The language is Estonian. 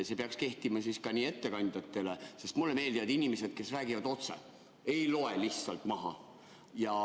See peaks kehtima siis ka ettekandjatele, sest mulle meeldivad inimesed, kes räägivad otse, ei loe lihtsalt maha.